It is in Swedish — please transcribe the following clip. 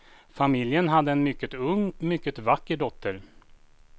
Familjen hade en mycket ung, mycket vacker dotter.